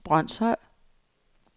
Brønshøj